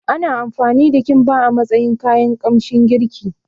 Ana amfani da Kimba a matsayin kayan kamshin girki